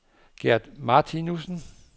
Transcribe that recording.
Gert Martinussen